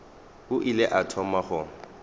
e ile ya thoma go